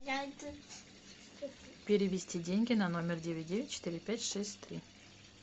перевести деньги на номер девять девять четыре пять шесть три